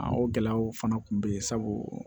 A o gɛlɛyaw fana tun be yen sabu